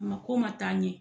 Mako man taa ɲɛ.